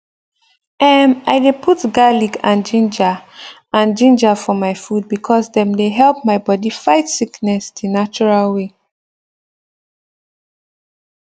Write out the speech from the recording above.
emm i dey put garlic and ginger and ginger for my food because dem dey help my bodi fight sickness the natural way